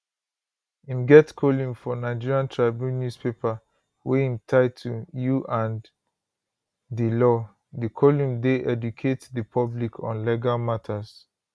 im get column for nigerian tribune newspaper wey im title you and di law di column dey educate di public on legal matters